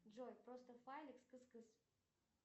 джой просто файлик с кыс кыс